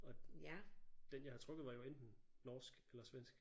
Og den jeg havde trukket var jo enten norsk eller svensk